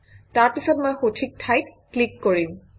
তাৰপিছত মই সঠিক ঠাইত ক্লিক কৰিম